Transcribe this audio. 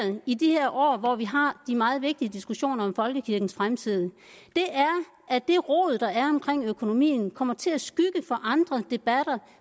i de her år hvor vi har de meget vigtige diskussioner om folkekirkens fremtid er at det rod der er omkring økonomien kommer til at skygge for andre debatter